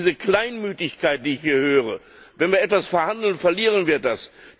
Diese Kleinmütigkeit, die ich hier höre Wenn wir etwas verhandeln, verlieren wir das.